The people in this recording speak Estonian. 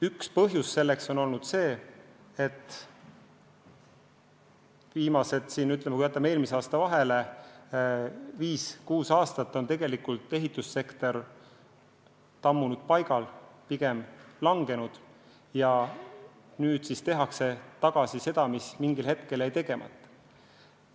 Üks põhjus on olnud see, et – jätame eelmise aasta vahele – viis-kuus aastat on ehitussektor kas tammunud paigal või pigem langenud ja nüüd siis tehakse tagasi seda, mis mingil ajal jäi tegemata.